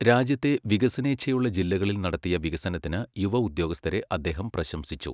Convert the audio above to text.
രാജ്യത്തെ വികസനേച്ഛയുള്ള ജില്ലകളിൽ നടത്തിയ വികസനത്തിന് യുവ ഉദ്യോഗസ്ഥരെ അദ്ദേഹം പ്രശംസിച്ചു.